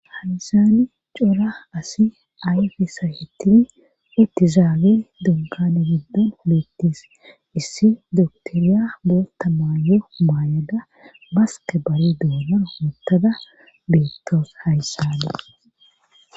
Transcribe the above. Hansani cora asi ayfesa hitini ittizaagil dunkane giddon beettis issi doktoriya bootta maayo maayada baske bari duonor hoottada beettoos hayssane